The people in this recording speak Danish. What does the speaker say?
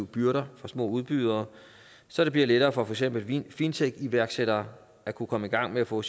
byrder fra små udbydere så det bliver lettere for for eksempel fintech iværksættere at kunne komme i gang med at få